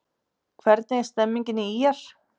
Hvernig er stemningin hjá ÍR?